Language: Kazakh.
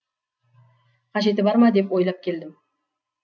қажеті бар ма деп ойлап келдім